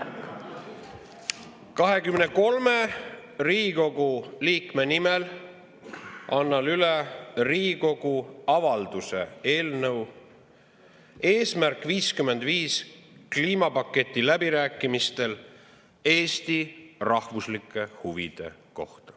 23 Riigikogu liikme nimel annan üle Riigikogu avalduse "Eesti rahvuslike huvide kohta "Eesmärk 55" kliimapaketi läbirääkimistel" eelnõu.